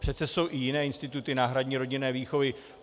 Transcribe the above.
Přece jsou i jiné instituty náhradní rodinné výchovy.